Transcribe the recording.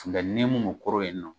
Nka n'i ye mun mun kɔrɔ yen nɔ